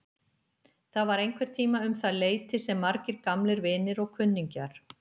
Það var einhverntíma um það leyti sem margir gamlir vinir og kunningjar